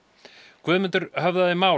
Guðmundur höfðaði mál